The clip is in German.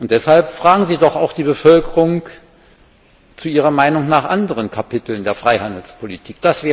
Deshalb fragen Sie doch auch die Bevölkerung nach ihrer Meinung zu anderen Kapiteln der Freihandelspolitik.